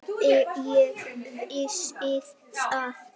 Ég vissi það.